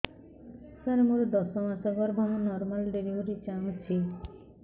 ସାର ମୋର ଦଶ ମାସ ଗର୍ଭ ମୁ ନର୍ମାଲ ଡେଲିଭରୀ ଚାହୁଁଛି